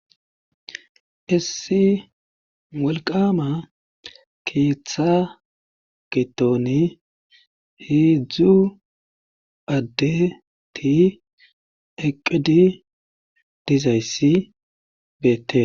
issi wolqama keeththa gitooni heedzdzu adde ti eqqidi dizayssi beettes